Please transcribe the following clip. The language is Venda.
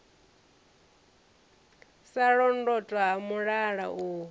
sa londotwa ha mulala u